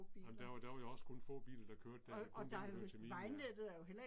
Amen der var jo der var jo også kun få biler der kørte der, der kun kunne køre til minen ja